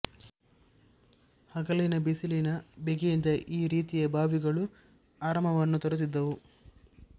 ಹಗಲಿನ ಬಿಸಿಲಿನ ಬೇಗೆಯಿಂದ ಈ ರೀತಿಯ ಬಾವಿಗಳು ಆರಾಮವನ್ನು ತರುತ್ತಿದ್ದವು